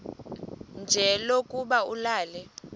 nje lokuba ulale